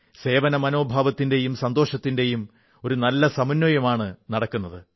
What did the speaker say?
സേവനമനോഭാവത്തിന്റെയും സന്തോഷത്തിന്റെയും ഒരു നല്ല സമന്വയമാണു നടക്കുന്നത്